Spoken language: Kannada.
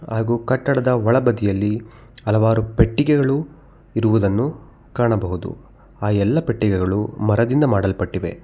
ಹಾಗೂ ಕಟ್ಟಡದ ಒಳಬದಿಯಲ್ಲಿ ಹಲವಾರು ಪೆಟ್ಟಿಗೆಗಳು ಇರುವುದನ್ನು ಕಾಣಬಹುದು ಆ ಎಲ್ಲ ಪೆಟ್ಟಿಗೆಗಳು ಮರದಿಂದ ಮಾಡಲ್ಪಟ್ಟಿವೆ.